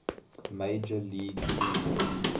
major league season